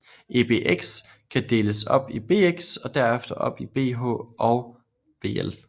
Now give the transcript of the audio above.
Ebx kan deles op i bx og derefter op i bh og bl